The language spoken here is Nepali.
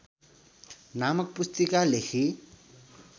नामक पुस्तिका लेखी